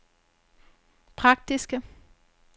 praktiske